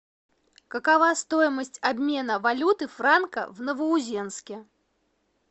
какова стоимость обмена валюты франка в новоузенске